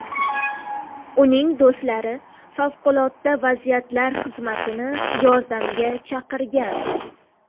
Uning do‘stlari favqulodda vaziyatlar xizmatini yordamga chaqirgan.